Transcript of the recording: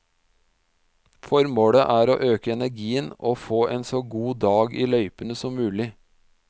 Formålet er å øke energien og få en så god dag i løypene som mulig.